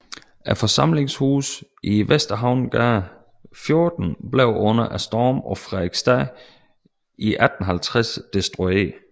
Forsamlingshuset i Vesterhavnsgade 14 blev under Stormen på Frederiksstad 1850 destrueret